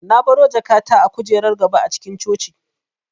Na baro jakata a kujerar gaba a cikin coci